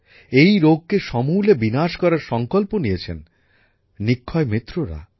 এই রোগকে সমূলে বিনাশ করার সংকল্প নিয়েছেন নিক্ষয়মিত্ররা